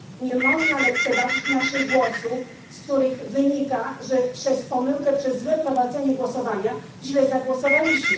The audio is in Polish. Nie można lekceważyć naszych głosów, z których wynika, że przez pomyłkę, przez złe prowadzenie głosowania źle zagłosowaliśmy.